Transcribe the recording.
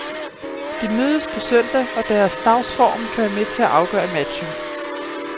De mødes på søndag og deres dagsform kan være med til at afgøre matchen.